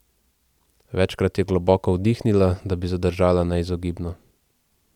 Večkrat je globoko vdihnila, da bi zadržala neizogibno.